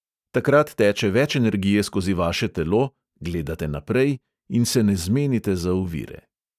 Takrat teče več energije skozi vaše telo, gledate naprej in se ne zmenite za ovire.